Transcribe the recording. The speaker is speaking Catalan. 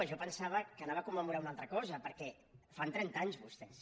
jo em pensava que anava a commemorar una altra cosa perquè fan trenta anys vostès